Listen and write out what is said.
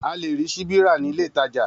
A lè rí síbi ra nílé ìtajà